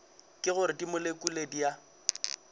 ke gore dimolekule di a